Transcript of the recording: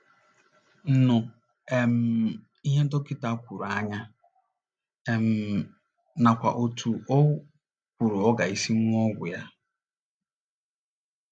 nụ um ihe dọkịta kwuru anya um nakwa otú o kwuru ọ ga - esi ṅụọ ọgwụ ya